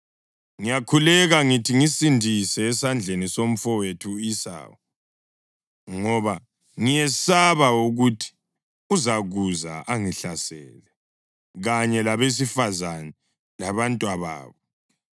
Ngiyakhuleka ngithi ngisindise esandleni somfowethu u-Esawu, ngoba ngiyesaba ukuthi uzakuza angihlasele, kanye labesifazane labantwababo.